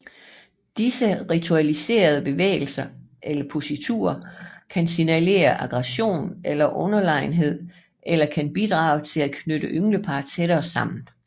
Disse ritualiserede bevægelser eller positurer kan signalisere aggression eller underlegenhed eller kan bidrage til at knytte ynglepar tættere sammen